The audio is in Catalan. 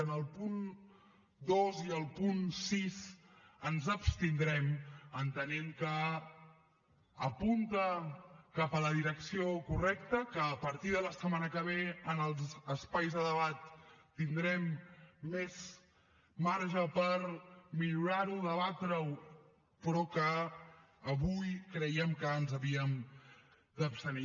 en el punt dos i en el punt sis ens abstindrem entenent que apunta cap a la direcció correcta que a partir de la setmana que ve en els espais de debat tindrem més marge per millorar ho debatre ho però que avui creiem que ens hi havíem d’abstenir